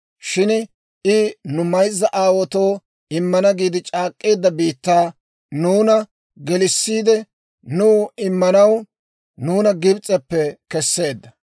Shin I nu mayzza aawaatoo immana giide c'aak'k'eedda biittaa nuuna gelissiide, nuw immanaw nuuna Gibs'eppe kesseedda.